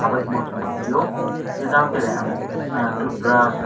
abodima song nogphio hingjang tere ah toothbrush.